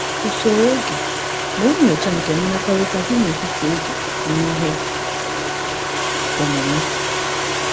Usoro oge bụ nyocha nke mmekọrịta dị n’etiti oge na ihe omume.